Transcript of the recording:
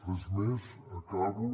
res més acabo